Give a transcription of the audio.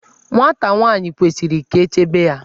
Nwata nwaanyi kwesiri ka echebe ya.